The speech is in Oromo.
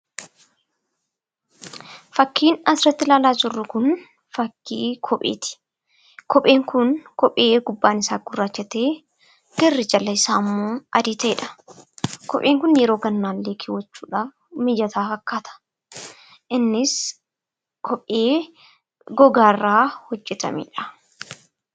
Fakkiin asirratti ilaalaa jirru kun fakkii kopheeti. Kopheen kun garri irrasaa gurraacha kan ta’e dha. Kopheen kun yereo gannaa illee kaawwachuuf mijataa fakkaata. Innis kophee gogaa irraa hojjetamedha.